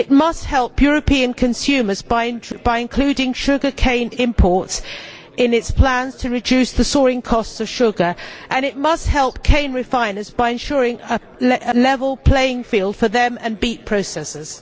It must help European consumers by including sugar cane imports in its plans to reduce the soaring cost of sugar, and it must help cane refiners by ensuring a level playing field for them and beet processors.